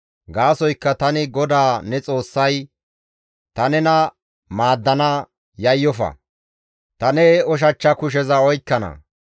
Gaasoykka tani GODAA ne Xoossay, ta nena maaddana; yayyofa ta ne ushachcha kusheza oykkana.